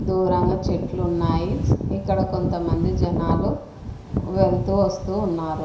దూరంగా చెట్లు ఉన్నాయి ఇక్కడ కొంతమంది జనాలు వెళ్తూ వస్తూ ఉన్నారు.